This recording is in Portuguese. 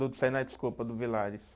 Do Senai, desculpa, do Villares.